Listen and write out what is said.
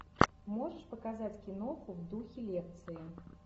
можешь показать киноху в духе лекции